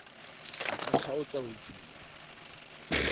a ka kgaotsa ho tsuba